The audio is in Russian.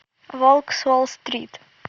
волк с уолл стрит